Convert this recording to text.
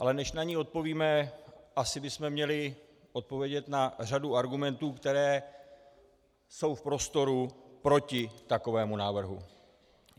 Ale než na ni odpovíme, asi bychom měli odpovědět na řadu argumentů, které jsou v prostoru proti takovému návrhu.